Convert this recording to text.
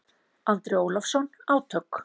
Andri Ólafsson: Átök?